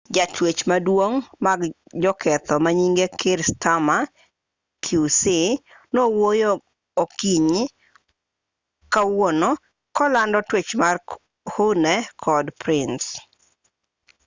jatwech maduong' mag joketho manyinge kier starmer qc nowuoyo okinyi kawuono kolando twech mar huhne kod pryce